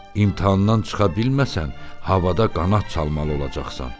İmtahandan çıxa bilməsən, havada qanat çalmalı olacaqsan.